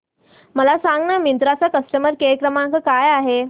मला सांगाना मिंत्रा चा कस्टमर केअर क्रमांक काय आहे